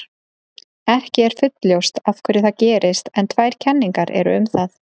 Ekki er fullljóst af hverju það gerist en tvær kenningar eru um það.